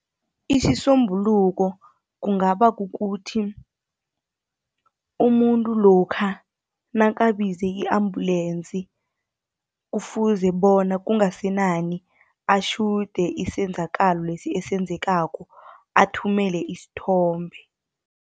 Isisombuluko kungaba kukuthi, umuntu lokha nakabize i-ambulensi, kufuze bona kungasenani atjhude isenzakalo lesi esenzakalako, athumele isithombe.